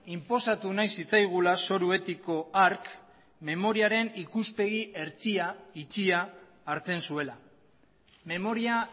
inposatu nahi zitzaigula zoru etiko hark memoriaren ikuspegi hertsia itxia hartzen zuela memoria